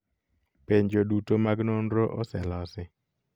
Penjo duto mag nonro ose losi